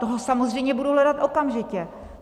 Toho samozřejmě budu hledat okamžitě.